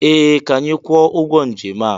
Ee! Ka anyị kwụọ ụgwọ njem a.